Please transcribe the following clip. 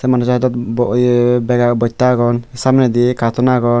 undi saidot bo iye bege bosta agon samney di katon agon.